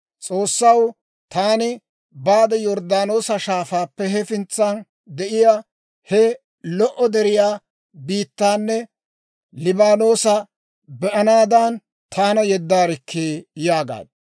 S'oossaw! Taani baade Yorddaanoosa Shaafaappe, hefintsan de'iyaa he lo"o deretiyaa biittaanne Liibaanoosa be'anaadan taana yeddaarikkii!› yaagaad.